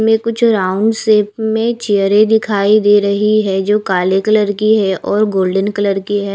में कुछ round shape में चेयरें दिखाई दे रही है जो काले कलर की है और गोल्डन कलर की है।